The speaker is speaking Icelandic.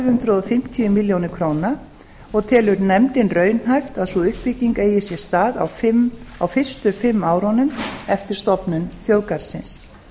hundruð fimmtíu milljónir króna og telur nefndin raunhæft að sú uppbygging eigi sér stað á fyrstu fimm árunum eftir stofnun þjóðgarðsins